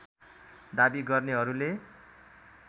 दाबी गर्नेहरूले